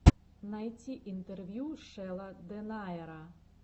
найти интервью шелла дэнаера